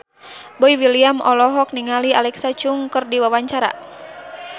Boy William olohok ningali Alexa Chung keur diwawancara